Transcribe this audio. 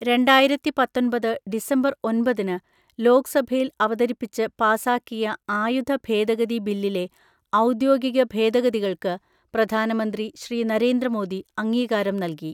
രണ്ടായിരത്തിപത്തൊൻപത് December ഒൻപതിന് ലോക്സഭയിൽ അവതരിപ്പിച്ച് പാസാക്കിയ ആയുധ ഭേദഗതി ബില്ലിലെ ഔദ്യോഗിക ഭേദഗതികൾക്ക് പ്രധാനമന്ത്രി ശ്രീ. നരേന്ദ്ര മോദി അംഗീകാരം നൽകി.